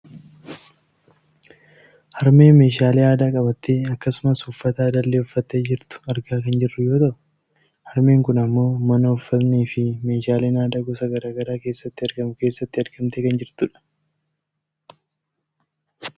harmee meeshaalee aadaa qabattee akkasumas uffata aadaallee uffattee jirtu argaa kan jirru yoo ta'u , harmeen kun ammoo mana uffatnii fi meeshaaleen aadaa gosa gara garaa keessatti argamu keessatti argamtee kan jirtudha.